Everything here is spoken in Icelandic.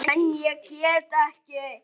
En ég get ekki.